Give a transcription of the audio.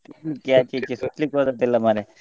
ಸುತ್ಲಿಕ್ಕೆ ಹೋದದ್ದಲ್ಲ ಮಾರ್ರೆ.